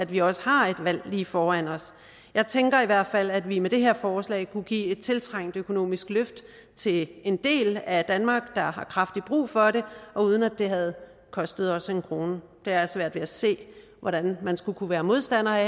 vi også har et valg lige foran os jeg tænker i hvert fald at vi med det her forslag kunne give et tiltrængt økonomisk løft til en del af danmark der har kraftigt brug for det og uden at det havde kostet os en krone jeg har svært ved at se hvordan man skulle kunne være modstander af